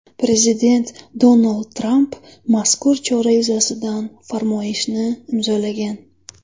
Prezident Donald Tramp mazkur chora yuzasidan farmoyishni imzolagan.